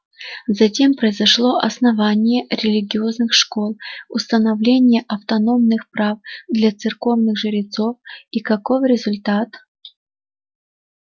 затем произошло основание религиозных школ установление автономных прав для церковных жрецов и каков результат